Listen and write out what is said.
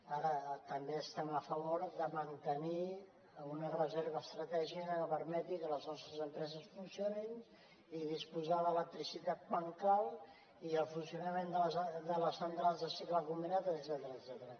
ara també estem a favor de mantenir una reserva estratègica que permeti que les nostres empreses funcionin i disposar d’electricitat quan cal i el funcionament de les centrals de cicle combinat etcètera